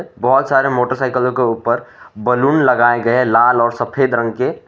बहोत सारे मोटरसाइकिलों के ऊपर बैलून लगाए गए हैं लाल और सफेद रंग के--